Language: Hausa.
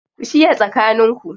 Ku shiya tsakaninku